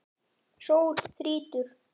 Sól þrýtur.